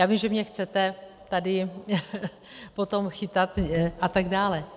Já vím, že mě chcete tady potom chytat a tak dále.